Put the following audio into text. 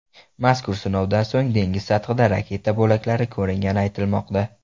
Mazkur sinovdan so‘ng dengiz sathida raketa bo‘laklari ko‘ringani aytilmoqda.